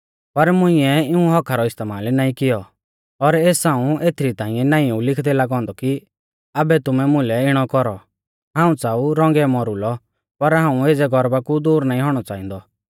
पर मुइंऐ इऊं हक्‍का रौ इस्तेमाल नाईं कियौ और एस हाऊं एथरी ताइंऐ नाईं ऊ लिखदै लागौ औन्दौ कि आबै तुमै मुलै इणौ कौरौ हाऊं च़ाऊ रौंगै मौरुलै पर हाऊं एज़ै गर्वा कु दूर नाईं औणौ च़ांहादौ